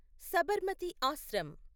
Sabarmati Ashram